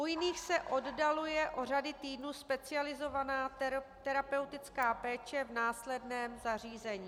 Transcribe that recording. U jiných se oddaluje o řady týdnů specializovaná terapeutická péče v následném zařízení.